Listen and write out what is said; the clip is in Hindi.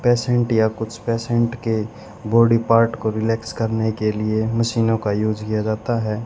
पेशेंट या कुछ पेशेंट के बॉडी पार्ट को रिलैक्स करने के लिए मशीनों का युज किया जाता है।